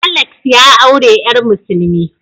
Alex ya aure yar musulmi.